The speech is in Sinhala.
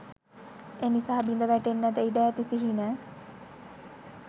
එනිසා බිඳ වැටෙන්නට ඉඩ ඇති සිහින